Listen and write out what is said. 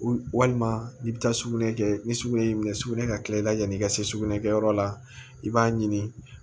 Walima n'i bɛ taa sugunɛ kɛ ni sugunɛ y'i minɛ sugunɛ ka kila i la yanni i ka se sugunɛ kɛyɔrɔ la i b'a ɲini